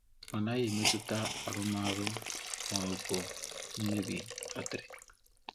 Ọ naghị emetụta arụmọrụ ma ọ bụ imebi batrị.